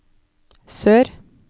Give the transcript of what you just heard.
sør